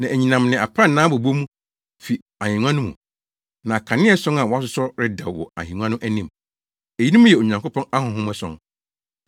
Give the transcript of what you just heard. Na anyinam ne aprannaa bobɔ mu fi ahengua no mu. Na akanea ason a wɔasosɔ redɛw wɔ ahengua no anim. Eyinom yɛ Onyankopɔn ahonhom ason.